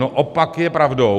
No, opak je pravdou.